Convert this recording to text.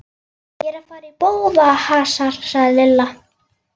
Ég er að fara í bófahasar sagði Lilla.